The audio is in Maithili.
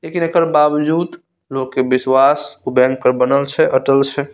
लेकिन एकर बावजूद लोग के विश्वास उ बैंक पर बनल छे अटल छे।